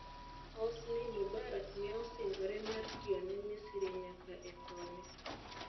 Hosni Mubarak ne osingore mar tiyo ne Misri nyaka e thone.